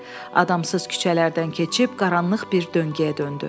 Adamsız küçələrdən keçib qaranlıq bir döngeyə döndü.